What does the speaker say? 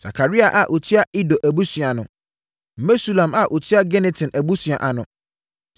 Sakaria a ɔtua Ido abusua ano. Mesulam a ɔtua Gineton abusua ano.